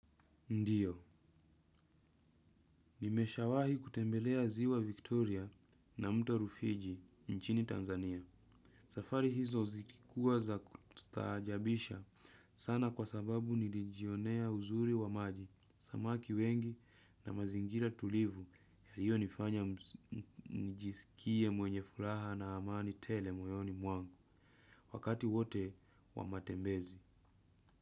Ndiyo, nimesha wahi kutembelea ziwa Victoria na mto Rufiji nchini Tanzania. Safari hizo zilikua za kustaajabisha sana kwa sababu nilijionea uzuri wa maji, samaki wengi na mazingira tulivu yaliyo nifanya nijisikie mwenye furaha na amani tele moyoni mwangu. Wakati wote wa matembezi.